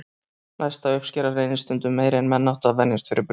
Næsta uppskera reynist stundum meiri en menn áttu að venjast fyrir brunann.